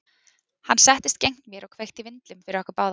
Hann settist gegnt mér og kveikti í vindlum fyrir okkur báða.